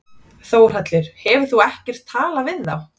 Þórhallur: Hefur þú ekkert talað við þá?